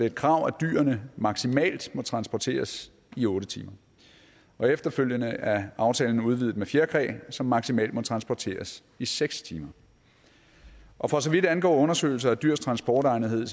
et krav at dyrene maksimalt må transporteres i otte timer og efterfølgende er aftalen udvidet med fjerkræ som maksimalt må transporteres i seks timer og for så vidt angår undersøgelser af dyrs transportegnethed